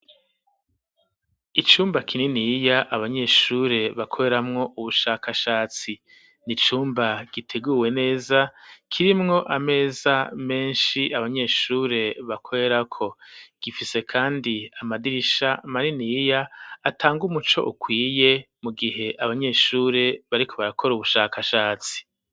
Icumba kininiya abanyeshure bakoreramwo ubushakashatsi nicumba giteguwe neza kirimwo ameza menshi abanyeshure bakorerako gifise kandi amadirisha maniniya atanga umuco ukwiye mu gihe abanyeshure bariko barakora ubushakashatsi.